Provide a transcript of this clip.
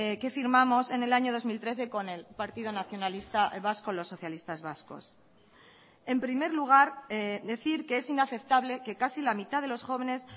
que firmamos en el año dos mil trece con el partido nacionalista vasco los socialistas vascos en primer lugar decir que es inaceptable que casi la mitad de los jóvenes